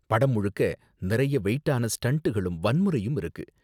படம் முழுக்க நிறைய வெயிட்டான ஸ்டண்டுகளும் வன்முறையும் இருக்கு.